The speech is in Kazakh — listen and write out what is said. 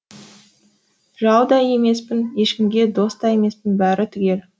жау да емеспін ешкімге дос та емеспін бәрі түгел